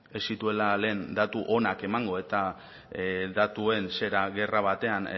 ez zituela lehen datu onak emango eta datuen zera gerra batean